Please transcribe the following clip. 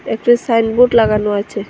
একটি সাইনবোর্ড লাগানো আছে।